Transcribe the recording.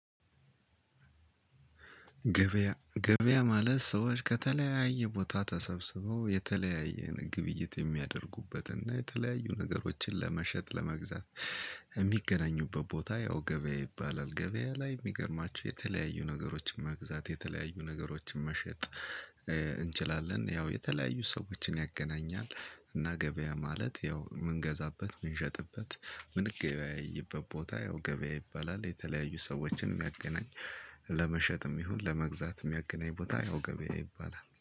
ገበያ ማለት ሰዎች ከተለያየ ቦታ ተሰብስበው የተለያየ ግብይት የሚያደርጉበት እና የተለያዩ ነገሮችን ለመሸጥ ለመግዛት የሚገናኙበት ቦታ ያው ገበያ ይባላል። ገበያ ላይ የሚገርማቸው የተለያዩ ነገሮችን መግዛት የተለያዩ ነገሮችን መሸጥ- እንችላለን። ያው የተለያዩ ሰዎችን ያገናኛል። እና ገበያ ማለት ያው የምንገዛበት ምንሸጥበት ምንገበያይበት ቦታ ያው ገበያ ይባላል። የተለያዩ ሰዎችን የሚያገናኝ- ለመሸጥም ይሁን ለመግዛት የሚያገናኝ ቦታ ያው ገበያ ይባላል።